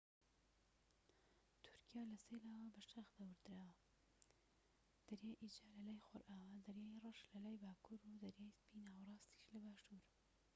تورکیا لە سێ لاوە بە شاخ دەورە دراوە دەریای ئیجە لە لای خۆرئاوا دەریای ڕەش لەلای باکوور و دەریای سپی ناوەراستیش لە باشور